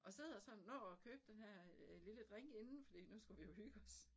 Og sidder sammen når at købe denne her øh lille drink inden fordi nu skulle vi jo hygge os